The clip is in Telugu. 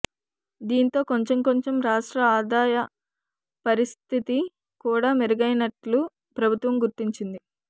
దీంతో కొంచెం కొంచెం రాష్ట్ర ఆదాయ పరిస్థితి కూడా మెరుగైనట్లు ప్రభుత్వం గుర్తించింది